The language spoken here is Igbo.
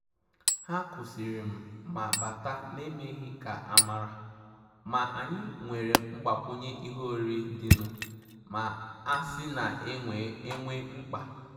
Hà kwụ́sị́rị̀ mà bátà n’èmèghị́ ká ámàrà, mà ànyị́ nwéré mgbàkwùnyé ìhè órírí dì nụ́, mà àsị́ nà é nwé mkpá.